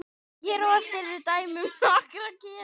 hér á eftir eru dæmi um nokkra gera